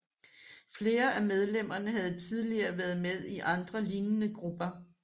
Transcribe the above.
Flere af medlemmerne havde tidligere været med i andre lignende grupper